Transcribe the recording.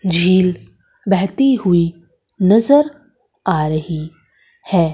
झील बहती हुई नजर आ रही है।